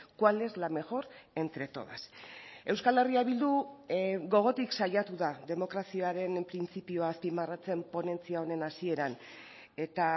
cuál es la mejor entre todas euskal herria bildu gogotik saiatu da demokraziaren printzipioa azpimarratzen ponentzia honen hasieran eta